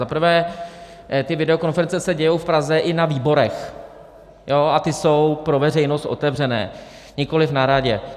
Za prvé, ty videokonference se dějí v Praze i na výborech, a ty jsou pro veřejnost otevřené, nikoliv na radě.